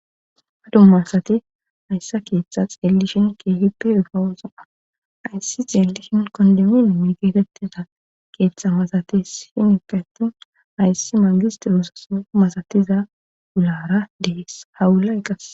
ha dummasati hayssa keeththa xeelli shin keefippe ifawosaa ayssi xeelli shin kondemin migetettida keeththa masate shinikati hayssi maagistirosaso masatiza ulara dees hawulayqqas